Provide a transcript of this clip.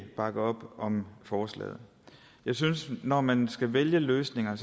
bakke op om forslaget jeg synes at når man skal vælge løsninger